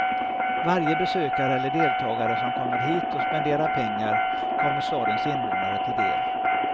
Varje besökare eller deltagare som kommer hit och spenderar pengar kommer stadens invånare till del.